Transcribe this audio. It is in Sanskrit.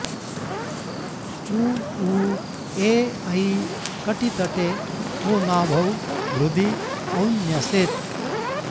उ ऊ ए ऐ कटितटे ओ नाभौ हृदि औ न्यसेत्